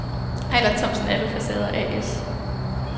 Eiler Thomsen Alufacader A/S